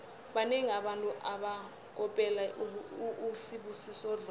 banengi abantu abakopela usibusiso dlomo